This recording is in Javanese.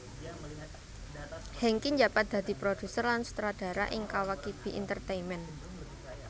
Hengky njabat dadi produser lan sutradara ning Kawakibi Entertainment